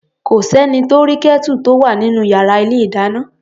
Kò s’ẹ́ni tó rí Kẹ́tù tó wà nínú yàrá ilé-ìdáná.